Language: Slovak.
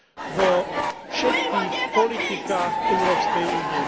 vo všetkých politikách Európskej únie.